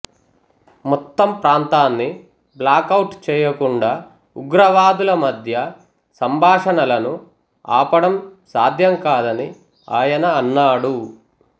మొత్తం ప్రాంతాన్ని బ్లాక్అవుట్ చేయకుండా ఉగ్రవాదుల మధ్య సంభాషణలను ఆపడం సాధ్యం కాదని ఆయన అన్నాడు